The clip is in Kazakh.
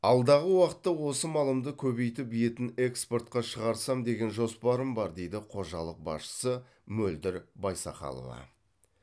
алдағы уақытта осы малымды көбейтіп етін экспортқа шағырсам деген жоспарым бар дейді қожалық басшысы мөлдір байсақалова